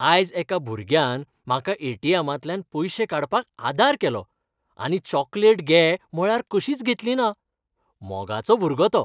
आयज एका भुरग्यान म्हाका ए.टी.एमा तल्यान पयशे काडपाक आदार केलो आनी चॉकलेट घे म्हळ्यार कशींच घेतली ना. मोगाचो भुरगो तो.